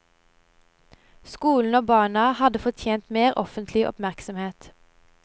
Skolen og barna hadde fortjent mer offentlig oppmerksomhet.